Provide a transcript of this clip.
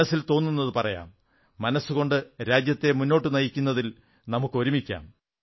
മനസ്സിൽ തോന്നുന്നത് പറയാം മനസ്സുകൊണ്ട് രാജ്യത്തെ മുന്നോട്ടു നയിക്കുന്നതിൽ നമുക്കൊരുമിക്കാം